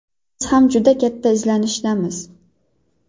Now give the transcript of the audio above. Biz ham juda katta izlanishdamiz.